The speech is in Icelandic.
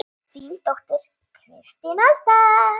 Þín dóttir, Kristín Alda.